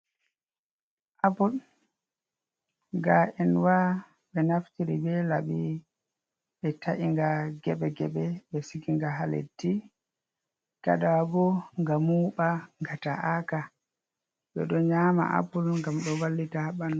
Apple gaenwa ɓe naftiri be laɓi ɓe ta’inga geɓe geɓe ɓe siginga ha leddi, gaɗa wa bo nga muɓa, nga ta’aka, ɓe ɗo nyama apple ngam ɗo vallita ha ɓanɗu.